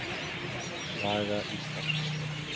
Saga Íslands.